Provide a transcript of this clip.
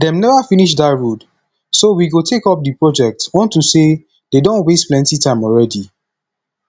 dey never finish dat road so we go take up the project unto say dey don waste plenty time already